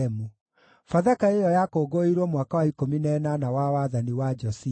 Bathaka ĩyo yakũngũĩirwo mwaka wa ikũmi na ĩnana wa wathani wa Josia.